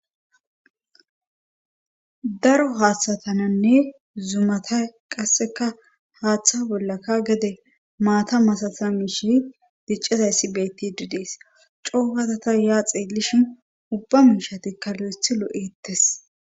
Daro haaththatananne zumata qasseka haaththa bollaka gede maata masata miishe diccizayssi beetti didees coogatata yaa xeelishin ubba miishatikka lo7eth lo7ettes